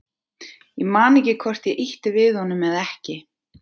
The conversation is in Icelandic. Ég man ekki hvort ég ýtti við honum eða ekki.